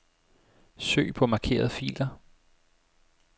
Søg på markerede filer.